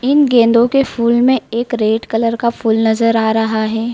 इन गेंदो के फूल में एक रेड कलर का फूल नजर आ रहा है।